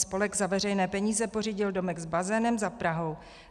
Spolek za veřejné peníze pořídil domek s bazénem za Prahou.